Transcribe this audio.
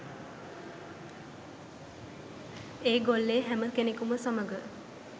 ඒගොල්ලේ හැම කෙනෙකුම සමග